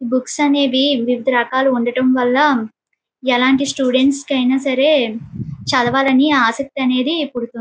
Books అనేది వివిధ రకాలుగా ఉండడం వల ఎలాంటి స్టూడెంట్స్ కైనా సరే చదవాలని ఆసక్తి అనేది పుడుతుంది.